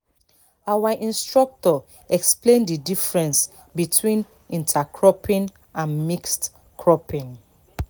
our instructor explain the difference between intercropping and mixed cropping